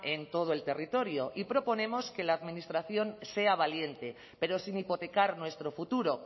en todo el territorio y proponemos que la administración sea valiente pero sin hipotecar nuestro futuro